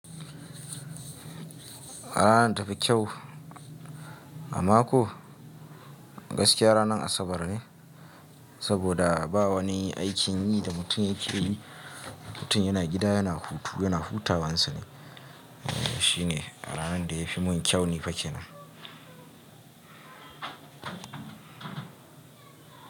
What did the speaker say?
Ranar tafi kyau a mako gaskiya ranar Asabar ne, saboda bawa ne aikin yi da mutum yake yi. Mutum yana gida yana hutu, yana hutawan sane. Shine aranar da yafi mun kyau ni fake nan.